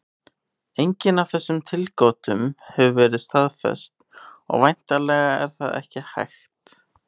Engin af þessum tilgátum hefur verið staðfest, og væntanlega er það ekki hægt.